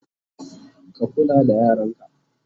ka kula da yaranka!